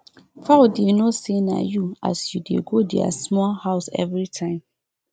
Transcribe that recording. fowl dey know say na you as you dey go their small house every time